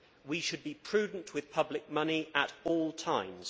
We should be prudent with public money at all times.